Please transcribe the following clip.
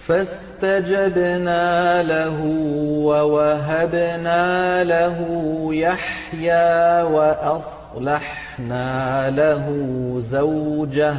فَاسْتَجَبْنَا لَهُ وَوَهَبْنَا لَهُ يَحْيَىٰ وَأَصْلَحْنَا لَهُ زَوْجَهُ ۚ